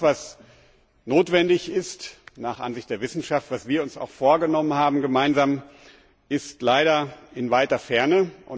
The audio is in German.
Das, was notwendig ist nach Ansicht der Wissenschaft, was wir uns auch gemeinsam vorgenommen haben, ist leider in weiter Ferne.